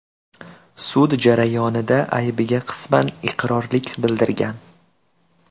sud jarayonida aybiga qisman iqrorlik bildirgan.